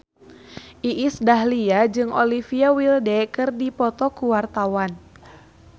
Iis Dahlia jeung Olivia Wilde keur dipoto ku wartawan